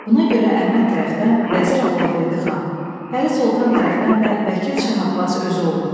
Buna görə Əhməd tərəfdən vəzir Allahverdi xan, Pəri Soltan tərəfdən də vəkil Şah Abbas özü oldu.